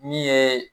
Min ye